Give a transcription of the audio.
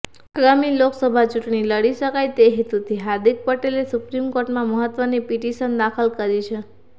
આગામી લોકસભા ચૂંટણી લડી શકાય તે હેતુથી હાર્દિક પટેલે સુપ્રીમકોર્ટમાં મહત્વની પિટિશન દાખલ કરી છે